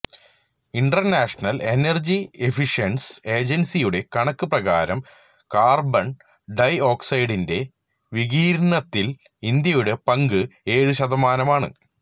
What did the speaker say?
international energy emissions ഏജന്സിയുടെ കണക്ക് പ്രകാരം കാര്ബണ് ഡൈ ഓക്സൈഡിന്റെ വികിരണത്തില് ഇന്ത്യയുടെ പങ്ക് ഏഴ് ശതമാനമാണ്